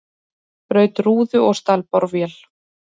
Braut rúðu og stal borvél